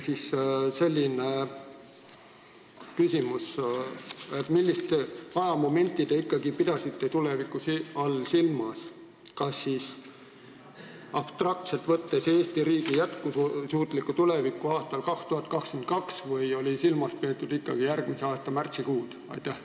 Siit selline küsimus: millist ajamomenti te ikkagi tuleviku all silmas pidasite, kas abstraktselt võttes Eesti riigi jätkusuutlikku tulevikku aastal 2022 või ikkagi järgmise aasta märtsikuud?